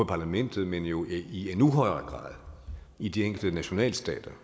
parlamentet men jo i endnu højere grad i de enkelte nationalstater